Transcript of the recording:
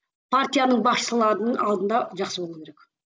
партияның басшыларының алдында жақсы болу керек